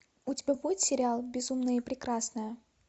у тебя будет сериал безумная и прекрасная